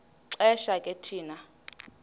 xesha ke thina